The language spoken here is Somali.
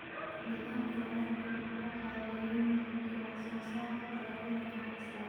Nidaamka waraabka wuxuu caawiyaa inuu kordhiyo wax-soo-saarka dalagyada ganacsiga.